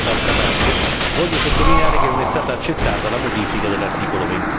Tuttavia, d'altra parte, voglio sottolineare che non è stata accettata la modifica dell'articolo